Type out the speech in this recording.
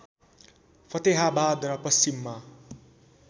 फतेहाबाद र पश्चिममा